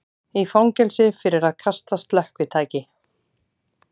Í fangelsi fyrir að kasta slökkvitæki